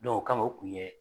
o kama u kun bɛ